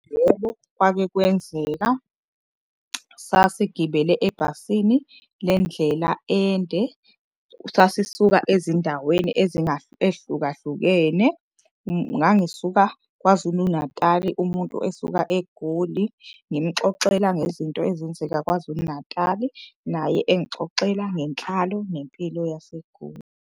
Yebo kwake kwenzeka, sasigibele ebhasini lendlela ende sasisuka ezindaweni ehlukahlukene. Ngangisuka KwaZulu-Natali umuntu esuka eGoli ngimxoxela ngezinto ezenzeka KwaZulu-Natali. Naye engixoxela ngenhlalo nempilo yaseGoli.